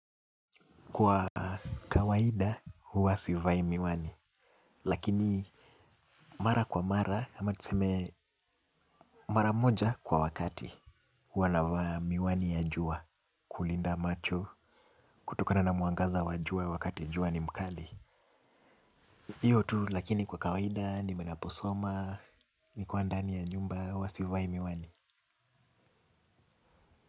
Kwa kawaida, huwa sivai miwani. Lakini mara kwa mara, ama tuseme mara moja kwa wakati. Huwa navaa miwani ya jua, kulinda macho, kutokana na mwangaza wa jua wakati jua ni mkali. Hiyo tu lakini kwa kawaida, nime naposoma, nikwa ndani ya nyumba, huwa sivai miwani.